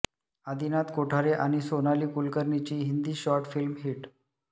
आदिनाथ कोठारे आणि सोनाली कुलकर्णीची Hindi short film heat